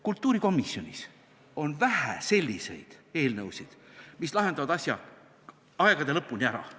Kultuurikomisjonis on vähe selliseid eelnõusid, mis lahendavad asja aegade lõpuni ära.